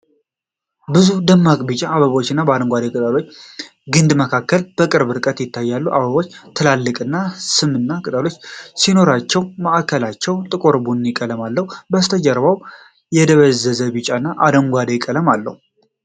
ብዙ ደማቅ ቢጫ አበቦች በአረንጓዴ ቅጠሎችና ግንድ መካከል በቅርብ ርቀት ይታያሉ። አበቦቹ ትልልቅና ስምንት ቅጠሎች ሲኖሯቸው ማዕከላቸው ጥቁር ቡኒ ቀለም አለው። ከበስተጀርባው የደበዘዘ ቢጫና አረንጓዴ ቀለም አለው።